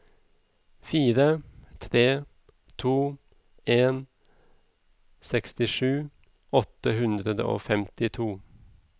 fire tre to en sekstisju åtte hundre og femtito